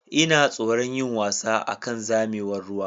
Ina tsoron yin wasa akan zamewar ruwa.